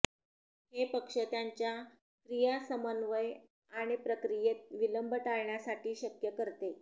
हे पक्ष त्यांच्या क्रिया समन्वय आणि प्रक्रियेत विलंब टाळण्यासाठी शक्य करते